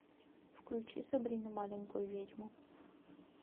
включи сабрину маленькую ведьму